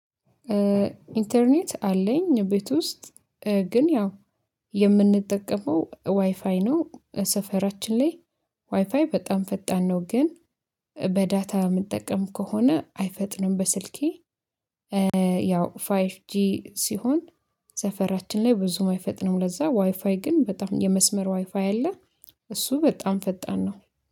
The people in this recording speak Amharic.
ኢንተርኔት አለኝ ቤት ውስጥ ግን ያው የምንጠቀመው ዋይፋይ ነው ሰፈራችን ላይ ዋይፋይ በጣም ፈጣን ነው። ግን በዳታ የምንጠቀም ከሆነ አይፈጥንም በስልኬ። ያው ፋይፍ ጂ ሲሆን ሰፈራችን ላይ ብዙ ማይፈጥነው ለዛ ዋይፋይ ግን በጣም የመስመር ዋይፋይ አለ። እሱ በጣም ፈጣን ነው